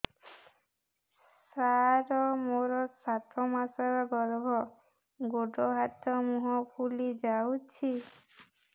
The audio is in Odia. ସାର ମୋର ସାତ ମାସର ଗର୍ଭ ଗୋଡ଼ ହାତ ମୁହଁ ଫୁଲି ଯାଉଛି